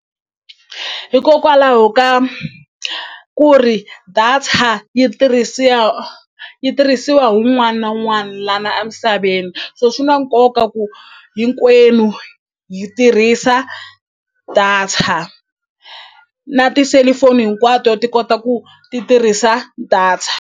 Hikokwalaho ka ku ri data yi yi tirhisiwa hi wun'wana na wun'wani lana a misaveni so swi na koka ku hinkwenu hi tirhisa data na tiselifoni hinkwato ti kota ku ti tirhisa data.